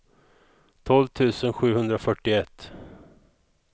tolv tusen sjuhundrafyrtioett